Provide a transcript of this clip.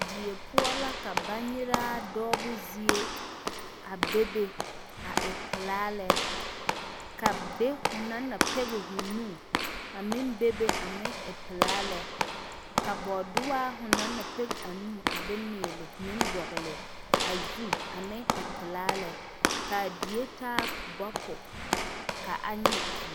Die poɔ la ka baŋnyɛraa doɔbo zie bebe a e pilaa lɛ ka be fo na pɛŋe fo meŋ e pilaa lɛ ka boodooya fo na pɛŋe fo nu a miile meŋ doŋle a zu meŋ e pilaa lɛ kaa die taa bopo ka a nyɛŋ vūū.